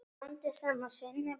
Blandið saman sinnepi og rjóma.